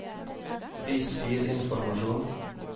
vis filinformasjon